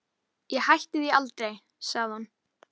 Ég hætti því aldrei, sagði hún.